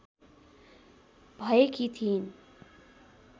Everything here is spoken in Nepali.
भएकी थिइन्